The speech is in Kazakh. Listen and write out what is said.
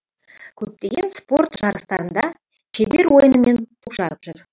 көптеген спорт жарыстарында шебер ойынымен жарып жүр